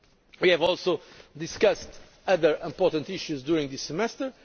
of the Council. We have discussed other important issues during